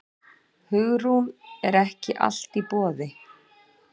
Hugrún: Er ekki allt í boði?